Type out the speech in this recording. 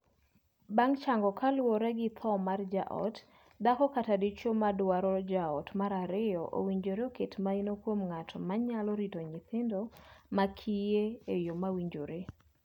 Bang' chango kaluwore gi thoo mar jaot, dhako kata dichwo ma dwaro jaot mar ariyo owinjore oket maino kuom ng'at ma nyalo rito nyithindo ma kiye e yoo mowinjore.